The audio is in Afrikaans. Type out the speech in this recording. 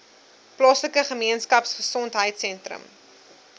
plaaslike gemeenskapgesondheid sentrum